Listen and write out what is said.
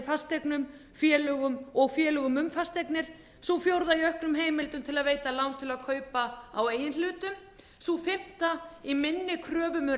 fasteignum félögum og félögum um fasteignir sú fjórða í auknum heimildum til að veita lán til að kaupa á eigin hlutum sú fimmta í minni kröfum um